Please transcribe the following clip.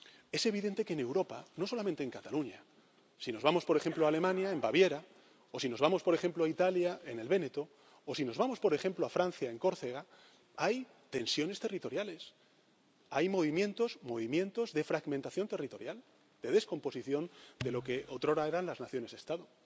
Es evidente que, en Europa, no solamente en Cataluña, si nos vamos, por ejemplo, a Alemania, en Baviera, o si nos vamos, por ejemplo, a Italia, en el Véneto, o si nos vamos, por ejemplo, a Francia, en Córcega, hay tensiones territoriales, hay movimientos de fragmentación territorial, de descomposición de lo que otrora eran las naciones Estado.